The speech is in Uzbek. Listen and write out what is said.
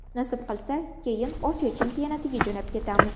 Nasib qilsa, keyin Osiyo chempionatiga jo‘nab ketamiz.